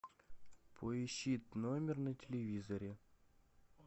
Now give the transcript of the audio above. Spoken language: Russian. поищи тномер на телевизоре